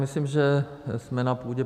Myslím, že jsme na půdě